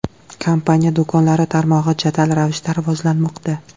Kompaniya do‘konlari tarmog‘i jadal ravishda rivojlanmoqda.